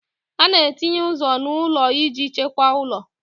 A na-etinye ụzọ n'ụlọ iji chekwaa ụlọ